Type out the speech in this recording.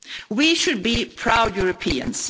We should be proud Europeans.